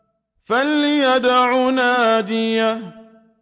فَلْيَدْعُ نَادِيَهُ